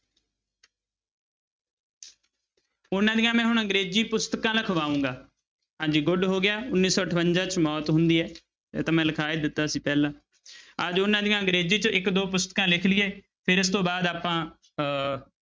ਉਹਨਾਂ ਦੀਆਂ ਮੈਂ ਹੁਣ ਅੰਗਰੇਜ਼ੀ ਪੁਸਤਕਾਂ ਲਿਖਵਾਊਂਗਾ ਹਾਂਜੀ good ਹੋ ਗਿਆ ਉੱਨੀ ਸੌ ਅਠਵੰਜਾ 'ਚ ਮੌਤ ਹੁੰਦੀ ਹੈ ਇਹ ਤਾਂ ਮੈਂ ਲਿਖਾ ਹੀ ਦਿੱਤਾ ਸੀ ਪਹਿਲਾਂ ਆ ਜਾਓ ਉਹਨਾਂ ਦੀਆਂ ਅੰਗਰੇਜ਼ੀ 'ਚ ਇੱਕ ਦੋ ਪੁਸਤਕਾਂ ਲਿਖ ਲਈਏ ਫਿਰ ਇਸ ਤੋਂ ਬਾਅਦ ਆਪਾਂ ਅਹ